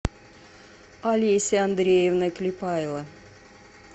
олеся андреевна клепайло